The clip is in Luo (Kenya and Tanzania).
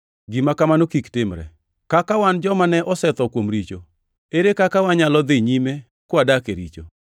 Gima kamano kik timre! Kaka wan joma ne osetho kuom richo; ere kaka wanyalo dhi nyime kwadak e richo?